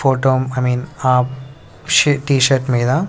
photo I mean ఆ షి T shirt మీద--